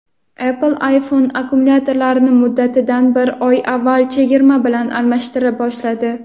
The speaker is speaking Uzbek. Apple iPhone akkumulyatorlarini muddatidan bir oy avval chegirma bilan almashtira boshladi.